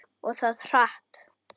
Og það hratt.